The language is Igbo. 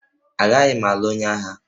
Agaghị m alụ onye agha